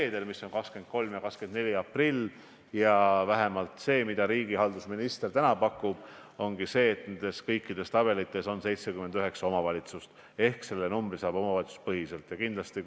Jevgeni Ossinovski viitas, et rahandusminister Martin Helme väitis majanduskomisjonis, et riik peab andma Eesti Energiale 125 miljonit, sest pangad seda projekti ideoloogilistel põhjustel ei rahasta.